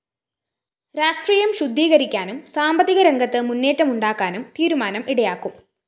രാഷ്ട്രീയം ശുദ്ധീകരിക്കാനും സാമ്പത്തികരംഗത്ത് മുന്നേറ്റമുണ്ടാക്കാനും തീരുമാനം ഇടയാക്കും